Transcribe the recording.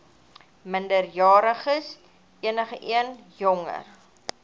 minderjariges enigeen jonger